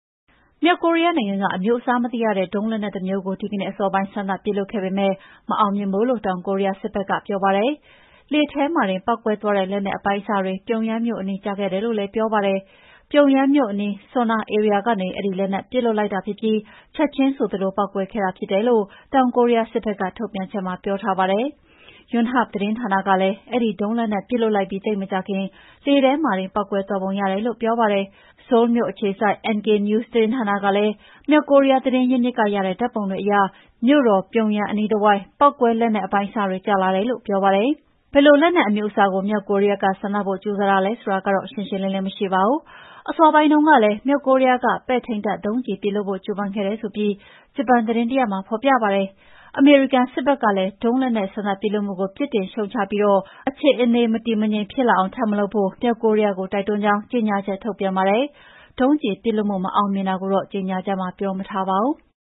မြောက်ကိုရီးယားနိုင်ငံက အမျိုးအစားမသိရတဲ့ ဒုံးလက်နက်တမျိုးကို ဒီကနေ့အစောပိုင်း စမ်းသပ်ပစ်လွှတ်ခဲ့ပေမယ့် မအောင်မြင်ဘူးလို့ တောင်ကိုရီးယား စစ်ဘက်ကပြောပါတယ်။ လေထဲမှာတင်ပေါက်ကွဲသွားတဲ့လက်နက်အပိုင်းအစတွေ ပြုံယမ်းမြို့အနီး ကျခဲ့တယ်လို့လည်း ပြောပါတယ်။ ပြုံယမ်းမြို့အနီး Sunan ဧရိယာကနေ အဲဒီလက်နက်ပစ်လွှတ်လိုက်ပြီး ချက်ချင်းဆိုသလိုပေါက်ကွဲခဲ့တာဖြစ်တယ်လို့ တောင်ကိုရီးယားစစ်ဘက်ကထုတ်ပြန်ချက်မှာပြောထားပါတယ်။ Yonhap သတင်းဌာနကလည်း အဲဒီ ဒုံးလက်နက်ပစ်လွှတ်လိုက်ပြီးသိပ်မကြာခင် လေထဲမှာတင်ပေါက်ကွဲသွားပုံရတယ်လို့ ပြောပါတယ်။ ဆိုးလ်မြို့အခြေစိုက် NK News သတင်းဌာနကလည်း မြောက်ကိုရီးယားကသတင်းရင်းမြစ်ကရတဲ့ ဓာတ်ပုံတွေအရ မြို့တော်ပြုံးယမ်းအနီးအတဝိုက် ပေါက်ကွဲလက်နက်အပိုင်းအစတွေ ကျလာတယ်လို့ ပြောပါတယ်။ ဘယ်လိုလက်နက်အမျိုးအစားကို မြောက်ကိုရီးယားက စမ်းသပ်ဖို့ ကြိုးစားတာလဲဆိုတာတော့ ရှင်းရှင်းလင်းလင်းမရှိပါဘူး။ အစောပိုင်းတုန်းကလည်း မြောက်ကိုရီးယားက ပဲ့ထိန်းတပ်ဒုံးကျည်ပစ်လွှတ်ဖို့ ကြိုးပမ်းခဲ့တယ်ဆိုပြီး ဂျပန်သတင်းတရပ်မှာ ဖော်ပြပါတယ်။ အမေရိကန်စစ်ဘက်ကလည်း ဒုံးလက်နက် စမ်းသပ်ပစ်လွှတ်မှုကို ပြစ်တင်ရှုတ်ချပြီး အခြေအနေမတည်မငြိမ်ထပ်ဖြစ်မလာအောင် ထပ်မလုပ်ဖို့ မြောက်ကိုရီးယားကို တိုက်တွန်းကြောင်း ကြေညာချက်ထုတ်ပြန်ပါတယ်။ ဒုံးကျည်ပစ်လွှတ်မှု မအောင်မြင်တာကိုတော့ ကြေညာချက်မှာ ပြောမထားပါဘူး။